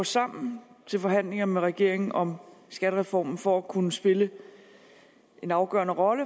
sammen til forhandlinger med regeringen om skattereform for at kunne spille en afgørende rolle